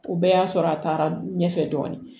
O bɛɛ y'a sɔrɔ a taara ɲɛfɛ dɔɔnin